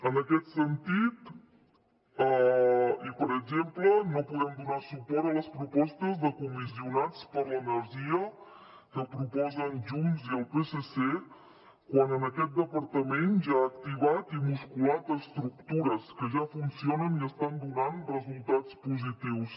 en aquest sentit i per exemple no podem donar suport a les propostes de comissionats per l’energia que proposen junts i el psc quan aquest departament ja ha activat i musculat estructures que ja funcionen i estan donant resultats positius